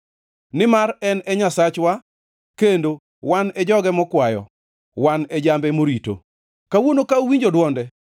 nimar en e Nyasachwa kendo wan e joge mokwayo, wan e jambe morito. Kawuono ka uwinjo dwonde,